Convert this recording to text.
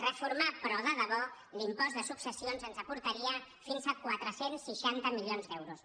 reformar però de debò l’impost de successions ens aportaria fins a quatre cents i seixanta milions d’euros